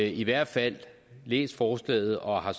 i hvert fald læst forslaget og har